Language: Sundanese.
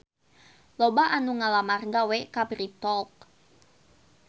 Loba anu ngalamar gawe ka Bread Talk